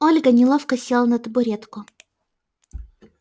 ольга неловко села на табуретку